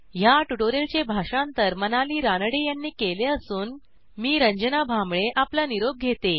ह्या ट्युटोरियलचे भाषांतर मनाली रानडे यांनी केले असून मी रंजना भांबळे आपला निरोप घेते